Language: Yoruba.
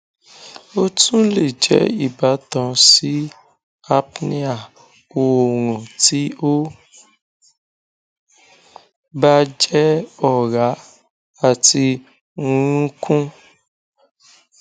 o tun le jẹ ibatan si apnea oorun ti o ba jẹ ọra ati nrunkun